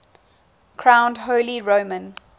crowned holy roman